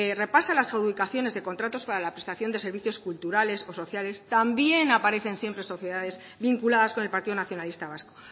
repasa las adjudicaciones de contratos para la prestación de servicios culturales o sociales también aparecen siempre sociedades vinculadas con el partido nacionalista vasco